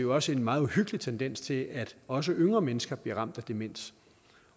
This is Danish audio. også en meget uhyggelig tendens til at også yngre mennesker bliver ramt af demens